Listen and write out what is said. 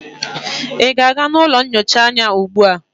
ị na-aga ụlọ nyocha ugbu a?